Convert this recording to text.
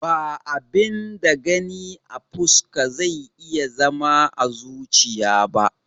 Ba abin da Gani a fuska zai iya zama à zuchiya ba